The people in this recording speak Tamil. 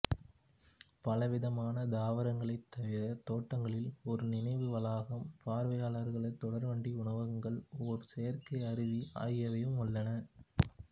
பலவிதமான தாவரங்களைத் தவிர தோட்டங்களில் ஒரு நினைவு வளாகம் பார்வையாளர்கள் தொடர்வண்டி உணவகங்கள் ஒரு செயற்கை அருவி ஆகியவையும் உள்ளன